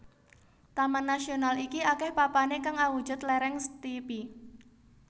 Taman nasional iki akeh papane kang awujud lereng steepy